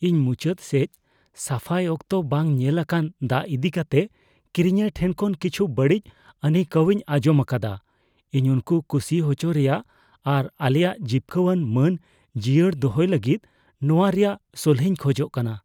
ᱤᱧ ᱢᱩᱪᱟᱹᱫ ᱥᱮᱪ ᱥᱟᱯᱷᱟᱭ ᱚᱠᱛᱚ ᱵᱟᱝ ᱧᱮᱞ ᱟᱠᱟᱱ ᱫᱟᱜ ᱤᱫᱤ ᱠᱟᱛᱮ ᱠᱤᱨᱤᱧᱤᱭᱟᱹ ᱴᱷᱮᱱ ᱠᱷᱚᱱ ᱠᱤᱪᱷᱩ ᱵᱟᱹᱲᱤᱡ ᱟᱹᱱᱟᱹᱭᱠᱟᱹᱣᱤᱧ ᱟᱸᱡᱚᱢ ᱟᱠᱟᱫᱟ ᱾ ᱤᱧ ᱩᱱᱠᱩ ᱠᱩᱥᱤ ᱦᱚᱪᱚᱠᱚ ᱨᱮᱭᱟᱜ ᱟᱨ ᱟᱞᱮᱭᱟᱜ ᱡᱤᱯᱠᱟᱹᱹᱣᱟᱱ ᱢᱟᱹᱱ ᱡᱤᱭᱟᱹᱲ ᱫᱚᱭᱚᱭ ᱞᱟᱹᱜᱤᱫ ᱱᱚᱶᱟ ᱨᱮᱭᱟᱜ ᱥᱚᱞᱦᱮᱧ ᱠᱷᱚᱡᱚᱜ ᱠᱟᱱᱟ ᱾